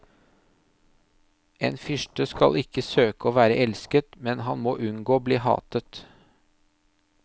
En fyrste skal ikke søke å være elsket, men han må unngå å bli hatet.